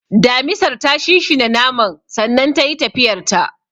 , Damisar ta shinshina naman sannan tayi tafiyarta.